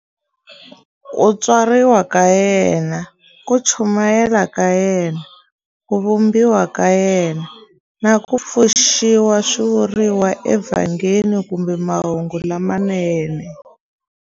Ku tswariwa ka yena, ku chumayela ka yena, ku vambiwa ka yena, na ku pfuxiwa swi vuriwa eVhangeli kumbe Mahungu lamanene.